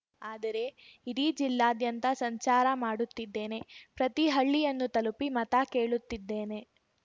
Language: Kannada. ಆದರೆ ಇಡೀ ಜಿಲ್ಲಾದ್ಯಂತ ಸಂಚಾರ ಮಾಡುತ್ತಿದ್ದೇನೆ ಪ್ರತಿ ಹಳ್ಳಿಯನ್ನು ತಲುಪಿ ಮತ ಕೇಳುತ್ತಿದ್ದೇನೆ